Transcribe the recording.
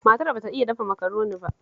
Matar ba ta iya dafa Makaroni ba